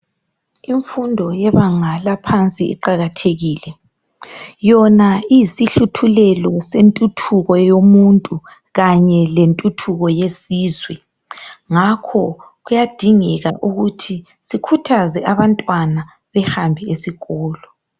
Imfundo yebanga laphansi iqakathekile, yona iyisihluthulelo sentuthuko yomuntu kanye lentuthuko yelizwe, ngakho kuyadingeka ukuthi sikhuthaze abantwana bahambe esikolo